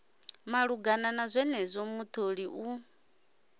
malugana na zwenezwo mutholi u